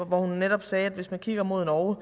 hvor hun netop sagde at hvis man kigger mod norge